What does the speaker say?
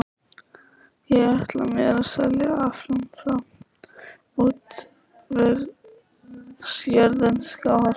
Ég ætla mér að selja aflann frá útvegsjörðum Skálholts.